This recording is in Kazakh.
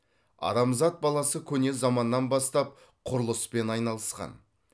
адамзат баласы көне заманнан бастап құрылыспен айналысқан